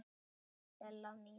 Hæ, Stella mín.